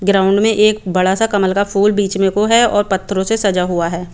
Ground में एक बड़ा सा कमल का फूल में बिच में को है और पथरो से सजा हुआ है।